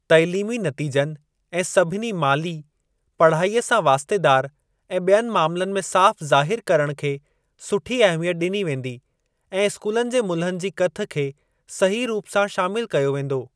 तालीमी नतीजनि ऐं सभिनी माली, पढ़ाईअ सां वास्तेदार ऐं ॿियनि मामलनि में साफ़ ज़ाहिर करण खे सुठी अहमियत ॾिनी वेंदी ऐं स्कूलनि जे मुल्हनि जी कथ खे सही रूप सां शामिल कयो वेंदो।